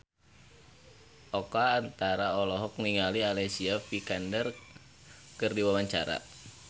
Oka Antara olohok ningali Alicia Vikander keur diwawancara